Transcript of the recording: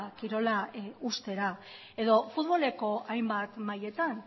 kirola uztera edo futboleko hainbat mailetan